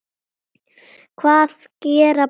Hvað gera bændur þá?